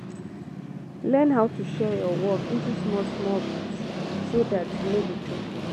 learn how to share your work into small small bit so dat e no go choke you